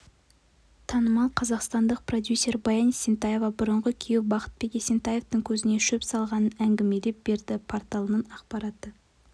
танымал қазақстандық продюсер баян есентаева бұрынғы күйеуі бақытбек есентаевтың көзіне шөп салғанын әңгімелеп берді порталының ақпараты